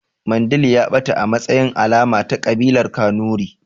Mandil ya ɓata a matsayin alama ta ƙabilar kanuri